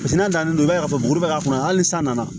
Paseke n'a dalen don i b'a ye k'a fɔ bugubugu k'a kɔnɔ hali san nana